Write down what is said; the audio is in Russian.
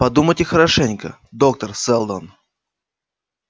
подумайте хорошенько доктор сэлдон